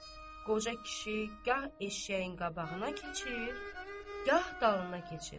Qoca kişi gah eşşəyin qabağına keçir, gah dalına keçir.